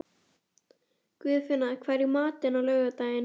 Guðfinna, hvað er í matinn á laugardaginn?